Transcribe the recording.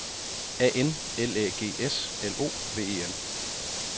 A N L Æ G S L O V E N